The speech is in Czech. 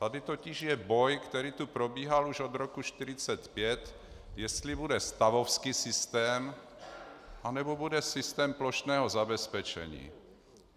Tady totiž je boj, který tu probíhal už od roku 1945, jestli bude stavovský systém, anebo bude systém plošného zabezpečení.